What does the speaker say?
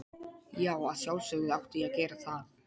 Já, að sjálfsögðu átti ég að gera það.